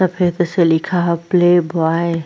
सफेद से लिखा है प्लेबॉय ।